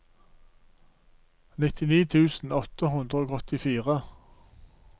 nittini tusen åtte hundre og åttifire